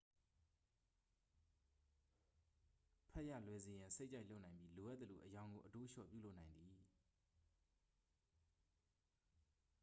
ဖတ်ရလွယ်စေရန် စိတ်ကြိုက်လုပ်နိုင်ပြီး လိုအပ်သလို အရောင်ကိုအတိုးအလျှော့ ပြုလုပ်နိုင်သည်